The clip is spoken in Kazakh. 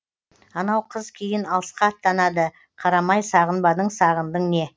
анау қыз кейін алысқа аттанады қарамай сағынбадың сағындың не